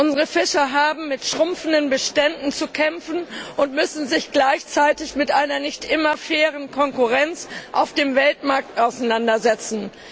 Unsere Fischer haben mit schrumpfenden Beständen zu kämpfen und müssen sich gleichzeitig mit einer nicht immer fairen Konkurrenz auf dem Weltmarkt auseinandersetzen.